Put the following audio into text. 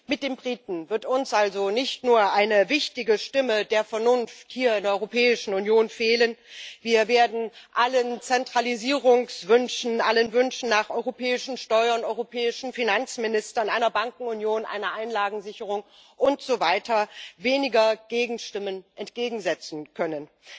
Mit den Briten wird uns also nicht nur eine wichtige Stimme der Vernunft hier in der Europäischen Union fehlen, wir werden allen Zentralisierungswünschen, allen Wünschen nach europäischen Steuern, europäischen Finanzministern, einer Bankenunion, einer Einlagensicherung und so weiter weniger Gegenstimmen entgegensetzen können.